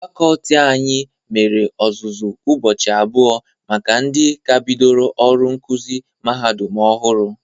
Fakọlti anyị mere ọzụzụ ụbọchị abụọ maka ndị ka bidoro ọrụ nkụzị mahadum ọhụrụ.